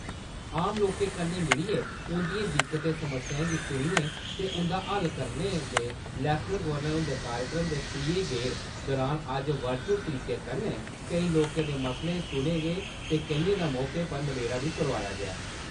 आम लोकें कन्नै मिलियै उं'दिएं दिक्कतें-समस्याएं गी सुनने ते उं'दा हल करोआने दे लेफ्टिनेंट गवर्नर हुंदे कार्यक्रम दे त्रीये गेड़ दुरान अज्ज वर्चुअल तरीके कन्नै केईं लोकें दे मसले सुने गे ते केइयें दा मौके पर नबेड़ा बी करोआया गेआ।